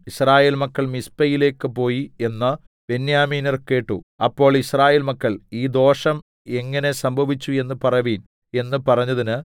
യിസ്രായേൽ മക്കൾ മിസ്പയിലേക്ക് പോയി എന്ന് ബെന്യാമീന്യർ കേട്ടു അപ്പോൾ യിസ്രായേൽ മക്കൾ ഈ ദോഷം എങ്ങിനെ സംഭവിച്ചു എന്ന് പറവിൻ എന്ന് പറഞ്ഞതിന്